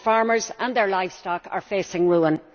Farmers and their livestock are facing ruin.